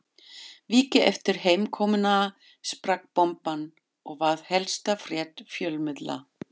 Viku eftir heimkomuna sprakk bomban og varð helsta frétt fjölmiðla